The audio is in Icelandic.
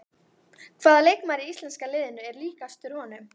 Hvaða leikmaður í íslenska liðinu er líkastur honum?